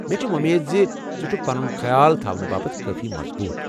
مےٚ چھِ وو٘مید زِ ژٕ چھُكھ پنُن خیال تھونہٕ باپت کٲفی مضبوٗط ۔